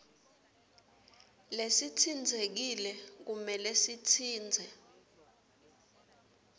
lesitsintsekile kumele sitsintse